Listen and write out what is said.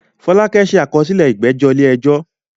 Fọlákẹ́ ṣe àkọsílẹ̀ ìgbẹ́jọ́ ilé ẹjọ́